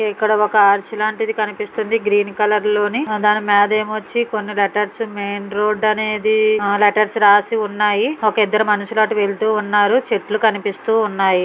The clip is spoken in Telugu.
డ ఒక ఆర్చ్ లాంటిది కనిపిస్తోంది గ్రీన్ కలర్ లోనీ దాని మీదేమొచ్చి కొన్ని లెటర్స్ మెయిన్ రోడ్ అనేది లెటర్స్ రాసి ఉన్నాయి ఒక ఇద్దరు మనుషులాటు వెళ్తున్నారు చెట్లు కనిపిస్తూ ఉన్నాయి.